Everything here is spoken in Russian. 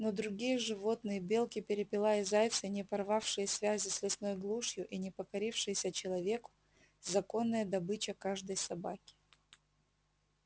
но другие животные белки перепела и зайцы не порвавшие связи с лесной глушью и не покорившиеся человеку законная добыча каждой собаки